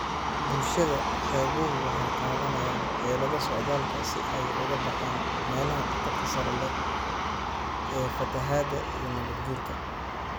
Bulshada xeebuhu waxay qaadanayaan xeelado socdaalka si ay uga baxaan meelaha khatarta sare leh ee fatahaada iyo nabaad guurka.